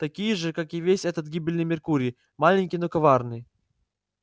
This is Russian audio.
такие же как и весь этот гибельный меркурий маленький но коварный